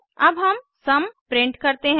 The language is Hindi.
अब हम सुम प्रिंट करते हैं